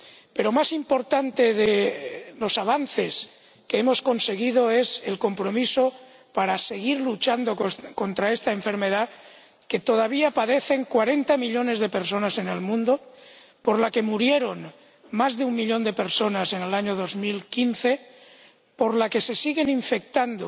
Pero más importante que los avances que hemos conseguido es el compromiso para seguir luchando contra esta enfermedad que todavía padecen cuarenta millones de personas en el mundo, por la que murieron más de un millón de personas en el año 2015, de la que se siguen infectando